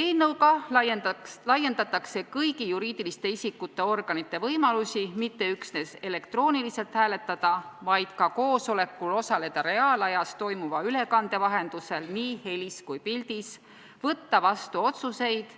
Eelnõuga laiendatakse kõigi juriidiliste isikute organite võimalusi mitte üksnes elektrooniliselt hääletada, vaid ka koosolekul osaleda reaalajas toimuva ülekande vahendusel nii helis kui pildis, võtta vastu otsuseid,